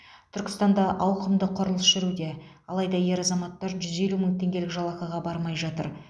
түркістанда ауқымды құрылыс жүруде алайда ер азаматтар жүз елу мың теңгелік жалақыға бармай жатыр